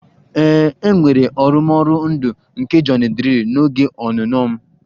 Ee, e nwere arụmọrụ ndụ nke Johnny drille n'oge ọnụnọ m